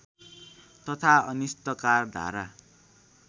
तथा अनिष्टकार धारा